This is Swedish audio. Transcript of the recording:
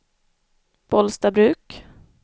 Bollstabruk